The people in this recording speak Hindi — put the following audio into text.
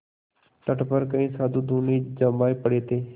तट पर कई साधु धूनी जमाये पड़े थे